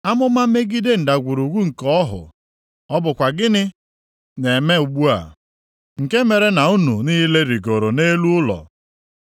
Amụma megide ndagwurugwu nke ọhụ. Ọ bụkwa gịnị na-eme unu ugbu a nke mere na unu niile rịgooro nʼelu ụlọ?